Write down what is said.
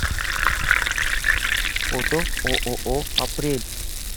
фото ооо апрель